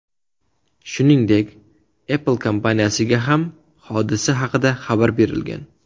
Shuningdek, Apple kompaniyasiga ham hodisa haqida xabar berilgan.